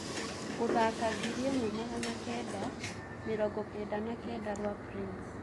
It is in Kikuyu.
Gũthaka ngiriĩmwe magana kenda , mĩrongo kenda na kenda rwa prince